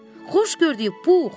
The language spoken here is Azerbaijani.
Xoş gördük, Pux.